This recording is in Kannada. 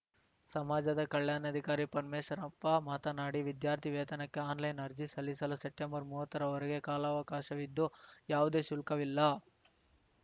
ಸಮಾಜದ ಕಲ್ಯಾಣಾಧಿಕಾರಿ ಪರಮೇಶ್ವರಪ್ಪ ಮಾತನಾಡಿ ವಿದ್ಯಾರ್ಥಿ ವೇತನಕ್ಕೆ ಆನ್‌ಲೈನ್‌ ಅರ್ಜಿ ಸಲ್ಲಿಸಲು ಸೆಪ್ಟೆಂಬರ್ ಮೂವತ್ತರವರೆಗೆ ಕಾಲಾವಕಾಶವಿದ್ದು ಯಾವುದೇ ಶುಲ್ಕವಿಲ್ಲ